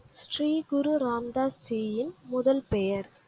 ஸ்ரீ குரு ராம் தாஸ் ஜியின் முதல் பெயர்